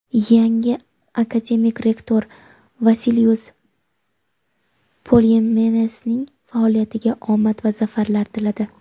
yangi akademik rektor Vasilius Polymenesning faoliyatiga omad va zafarlar tiladi.